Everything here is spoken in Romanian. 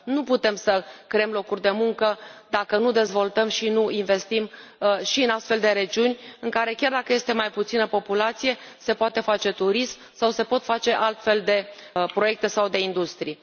Nu putem să creăm locuri de muncă dacă nu dezvoltăm și nu investim și în astfel de regiuni, în care, chiar dacă este mai puțină populație, se poate face turism sau se pot face altfel de proiecte sau de industrii.